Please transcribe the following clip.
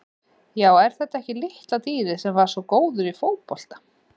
Já er þetta ekki litla dýrið sem var svo góður í fótbolta?